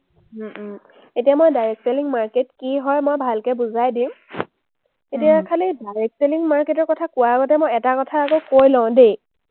উম um এতিয়া মই direct selling market কি হয় মই ভালকে বুজাই দিম। এতিয়া খালী direct selling market ৰ কথা কোৱাৰ আগতে মই এটা কথা আগত কৈ লওঁ দেই।